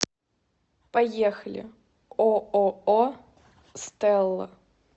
поехали ооо стелла